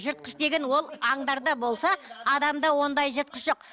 жыртқыш деген ол аңдарда болса адамда ондай жыртқыш жоқ